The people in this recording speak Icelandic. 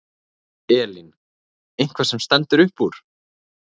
Elín: Eitthvað sem stendur upp úr?